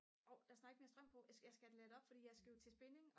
årh der er snart ikke mere strøm på jeg skal have det ladt det op for jeg skal jo til spinning